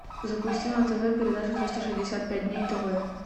запусти на тв передачу триста шестьдесят пять дней тв